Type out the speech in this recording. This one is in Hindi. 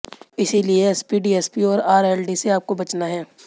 इसलिए एसपी डीएसपी और आरएलडी से आपको बचना है